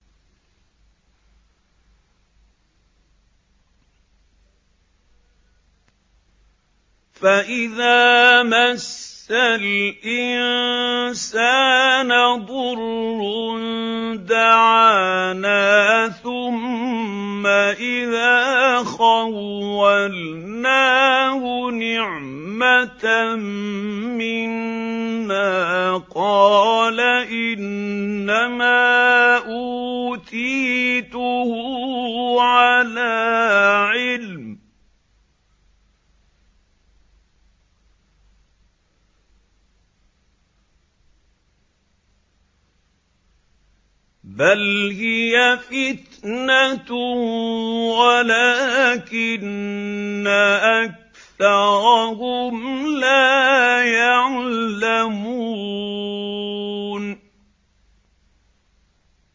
فَإِذَا مَسَّ الْإِنسَانَ ضُرٌّ دَعَانَا ثُمَّ إِذَا خَوَّلْنَاهُ نِعْمَةً مِّنَّا قَالَ إِنَّمَا أُوتِيتُهُ عَلَىٰ عِلْمٍ ۚ بَلْ هِيَ فِتْنَةٌ وَلَٰكِنَّ أَكْثَرَهُمْ لَا يَعْلَمُونَ